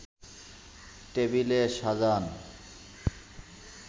table সাজান